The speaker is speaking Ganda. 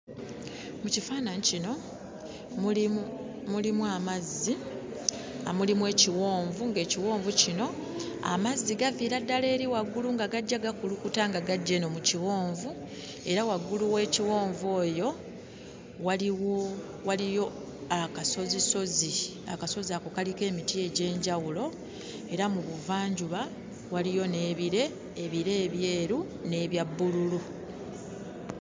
Mu kifaananyi kino mulimu mulimu amazzi, mulimu ekiwonvu, ng'ekiwonvu kino, amazzi gaviira ddala eri waggulu nga gajja gakulukuta nga gajja eno mu kiwonvu, era waggulu w'ekiwonvu eyo waliwo waliyo akasozisozi. Akasozi ako kaliko emiti egy'enjawulo era mu buvanjuba waliyo n'ebire; ebire ebyeru n'ebya bbululu.